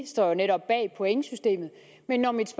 står jo netop bag pointsystemet men når mit